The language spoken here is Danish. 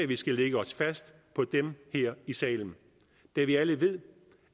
vi skal lægge os fast på dem her i salen da vi alle ved